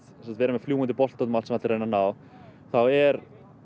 vera með fljúgandi bolta út um allt sem allir reyna að ná þá er